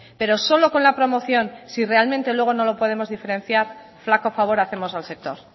pero solo con la promoción si realmente luego no lo podemos diferenciar flaco favor hacemos al sector